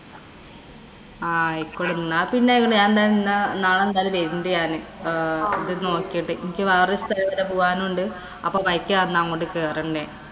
ആയിക്കൊള്ളട്ടെ. എന്നാ പിന്നെ എന്തായാലും വരുന്നുണ്ട് ഞാന്. നോക്കിട്ട്. എനിക്ക് വേറെ ഒരു സ്ഥലം വരെ പോവാനുണ്ട്. അപ്പൊ വയിക്ക് അങ്ങോട്ട് കേറും ഞാന്‍